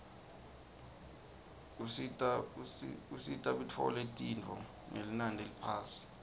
usita bitfole tinifo ngelinani leliphasi